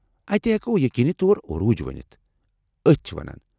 اتہِ ہٮ۪کو ییٚقیٖنی طور عروٗج ؤنتھ ، أتھۍ چھِ ونان۔